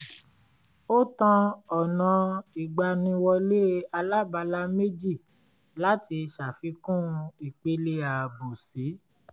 ó tan ọ̀nà ìgbàniwọlé alábala méjì láti ṣàfikún ìpele ààbò si